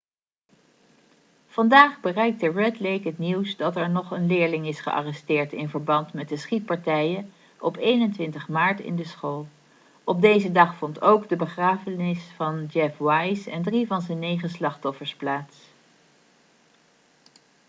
vandaag bereikte red lake het nieuws dat er nog een leerling is gearresteerd in verband met de schietpartijen op 21 maart in de school op deze dag vond ook de begrafenis van jeff weise en drie van zijn negen slachtoffers plaats